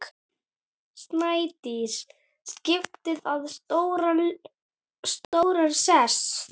Snædís skipaði þar stóran sess.